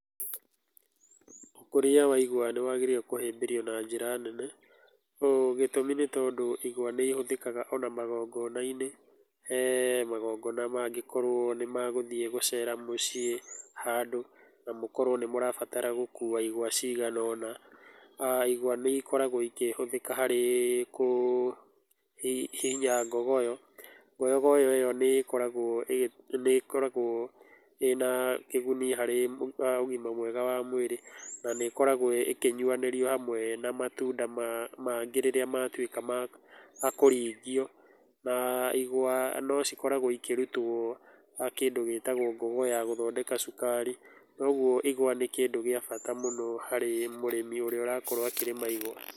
Ũkũria wa igwa nĩwagĩrĩire kũhĩmbĩrio na njĩra nene, ũũ gĩtũmi nĩtondũ igwa nĩihũthĩkaga ona magongona-inĩ, he magongona mangĩkorwo nĩ magũthiĩ gũcera mũciĩ handũ na mũkorwo nĩ mũrabatara gũkua igwa ciganona, [aa] igwa nĩikoragwo ikĩhũthĩka harĩ kũhihinya ngogoyo, ngogoyo ĩyo nĩkoragwo ĩ, nĩkoragwo ĩna kĩguni harĩ ũgima mwega wa mwĩrĩ, na nĩkoragwo ĩkĩnyuanĩrio hamwe na matunda mangĩ rĩrĩa matwĩka ma makũringio, na, igwa, nocikoragwo ikĩrutwo kĩndũ gĩtagwo ngogoyo ya gũthondeka cukari, kwoguo igwa ní kĩndũ gĩa bata mũno harĩ mũrĩmi ũrĩa ũrakorwo akĩrĩma igwa.